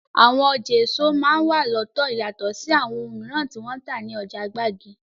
Àwọn ọjà èso máa n wà lọ́tọ̀ yatọ̀ sí àwọn oun mìíràn tí wọ́n ń tà ní ọjà gbági.